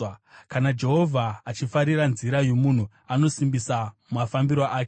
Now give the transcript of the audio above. Kana Jehovha achifarira nzira yomunhu, anosimbisa mafambiro ake;